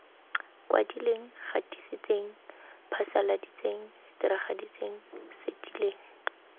kwadileng gatisitseng phasaladitseng diragaditseng setileng